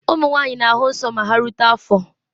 Ụmụ nwanyị na-ahụ nsọ ma ha rute afọ